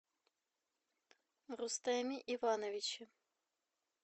рустэме ивановиче